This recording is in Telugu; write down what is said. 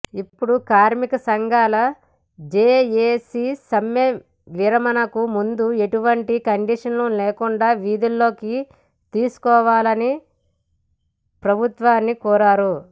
ఇప్పుడు కార్మిక సంఘాల జేఏసీ సమ్మె విరమణకు ముందు ఎటువంటి కండీషన్లు లేకుండా విధుల్లోకి తీసుకోవాలని ప్రభుత్వాన్ని కోరారు